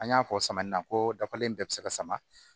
An y'a fɔ samiyɛ in na ko dafalen bɛɛ bɛ se ka sama